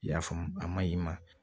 I y'a faamu a ma ɲi ma